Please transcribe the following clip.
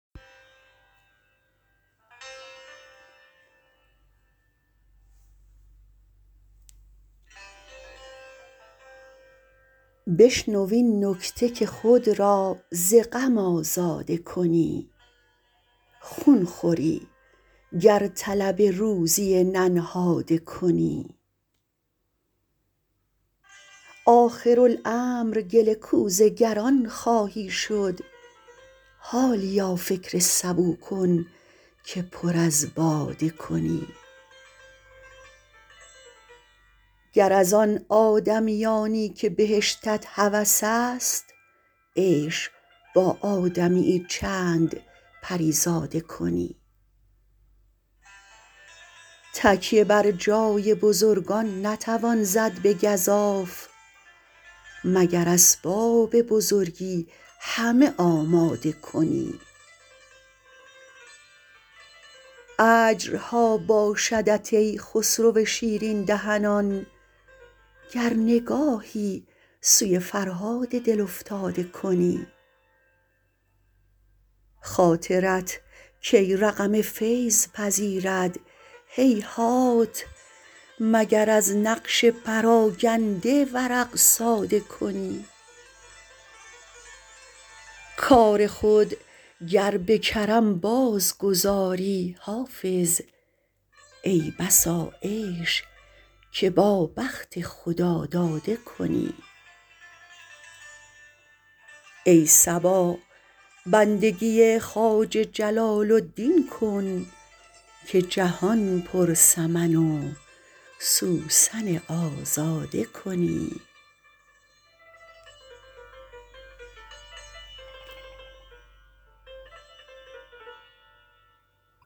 بشنو این نکته که خود را ز غم آزاده کنی خون خوری گر طلب روزی ننهاده کنی آخرالامر گل کوزه گران خواهی شد حالیا فکر سبو کن که پر از باده کنی گر از آن آدمیانی که بهشتت هوس است عیش با آدمی یی چند پری زاده کنی تکیه بر جای بزرگان نتوان زد به گزاف مگر اسباب بزرگی همه آماده کنی اجرها باشدت ای خسرو شیرین دهنان گر نگاهی سوی فرهاد دل افتاده کنی خاطرت کی رقم فیض پذیرد هیهات مگر از نقش پراگنده ورق ساده کنی کار خود گر به کرم بازگذاری حافظ ای بسا عیش که با بخت خداداده کنی ای صبا بندگی خواجه جلال الدین کن که جهان پر سمن و سوسن آزاده کنی